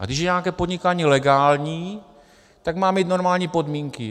A když je nějaké podnikání legální, tak má mít normální podmínky.